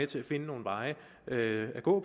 til at finde nogle veje at gå